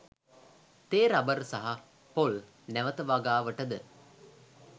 තේ රබර් සහ පොල් නැවත වගාවට ද